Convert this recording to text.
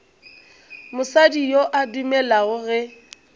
mosadi yo a dumelago ge